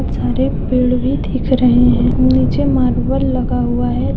सारे पेड़ भी दिख रहे हैं नीचे मार्बल लगा हुआ है।